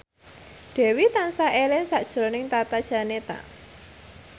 Dewi tansah eling sakjroning Tata Janeta